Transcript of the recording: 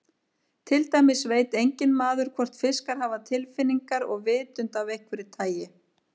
Til dæmis veit enginn maður hvort fiskar hafa tilfinningar og vitund af einhverju tagi.